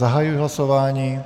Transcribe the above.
Zahajuji hlasování.